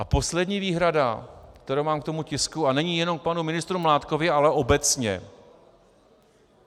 A poslední výhrada, kterou mám k tomu tisku, a není jenom k panu ministru Mládkovi, ale obecně.